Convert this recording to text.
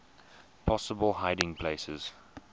possible hiding places